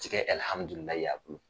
Ti kɛ ɛlhamdulilahi ye a